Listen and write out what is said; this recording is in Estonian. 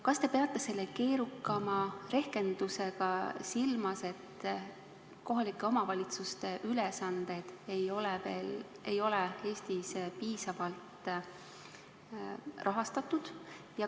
Kas te peate selle keerukama rehkendusega silmas, et kohalike omavalitsuste ülesanded ei ole Eestis piisavalt rahastatud?